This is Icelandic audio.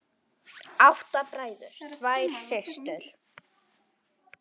Átta bræður, tvær systur.